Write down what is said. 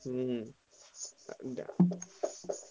ହୁଁ ଆଉ